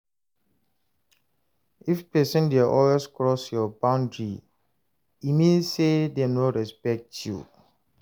If pesin dey always cross your boundary, e mean say dem no respect you.